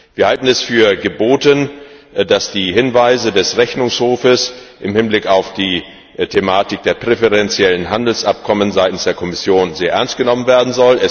Wir halten es für geboten, dass die Hinweise des Rechnungshofes im Hinblick auf die Thematik der präferenziellen Handelsabkommen seitens der Kommission sehr ernst genommen werden.